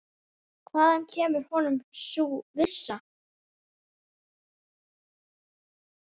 Hvaðan kemur honum sú vissa?